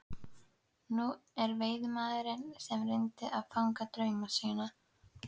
Hún er veiðimaðurinn sem reynir að fanga drauma sína.